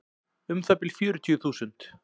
Um það bil fjörutíu þúsund.